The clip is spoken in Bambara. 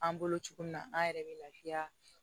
An bolo cogo min na an yɛrɛ bɛ lafiya